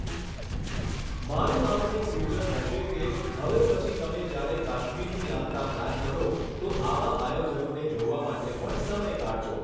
મારું આપને સૂચન હશે કે હવે પછી તમે જ્યારે કાશ્મીરની યાત્રા પ્લાન કરો તો આવા આયોજનોને જોવા માટે પણ સમય કાઢજો.